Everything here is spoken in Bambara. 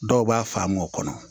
Dɔw b'a faamu o kɔnɔ